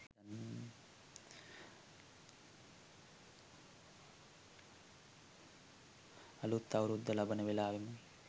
අලුත් අවුරුද්ද ලබන වෙලාවේම